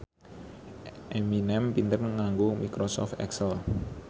Eminem pinter nganggo microsoft excel